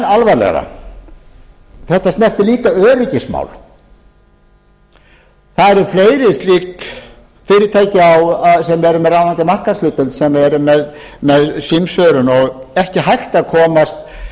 alvarlegra það snertir líka öryggismál það eru fleiri fyrirtæki með ráðandi markaðshlutdeild sem eru með símsvörun og ekki hægt að komast